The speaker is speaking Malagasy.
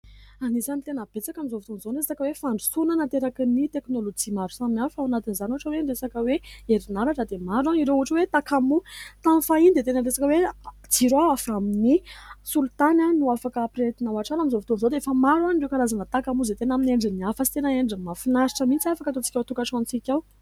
Anisan'ny tena betsaka amin'izao fotoana izao ny resaka hoe fandrosona nateraky ny teknolojia maro samihafa, ao anatin'izany ohatra hoe ny resaka hoe erinaratra dia maro a ireo ohatra hoe takamoa. Tamin'ny fahiny dia tena niresaka hoe jiro a avy amin'ny solitany no afaka hampirehetina ao antrano a. Amin'izao fotoan'izao dia efa maro a ireo karazana takamoa izay tena amin'ny endriny hafa sy tena endriny mahafinaritra mihintsy afaka ataontsika ao an-tokantranontsika ao.